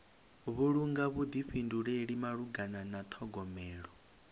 vhulunga vhuḓifhinduleli malugana na ṱhogomelo